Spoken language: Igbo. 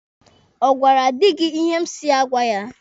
Ọ gwara di gị ihe m si ya gwa ya?